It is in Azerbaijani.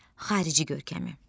Xarici görkəmi.